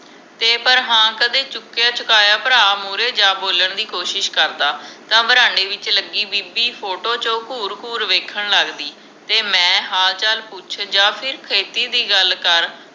ਤੇ ਪਰ ਹਾਂ ਕਦੇ ਚੁਕਿਆ ਚੁਕਾਇਆ ਭਰਾ ਮੂਹਰੇ ਜਾ ਬੋਲਣ ਦੀ ਕੋਸ਼ਿਸ਼ ਕਰਦਾ ਤਾਂ ਬਰਾਂਡੇ ਵਿਚ ਲਗੀ ਬੀਬੀ ਫੋਟੋ ਚ ਘੂਰ ਘੂਰ ਵੇਖਣ ਲਗਦੀ ਤੇ ਮੈਂ ਹਾਲ ਚਾਲ ਪੁੱਛ ਜਾ ਫਿਰ ਖੇਤੀ ਦੀ ਗੱਲ ਕਰ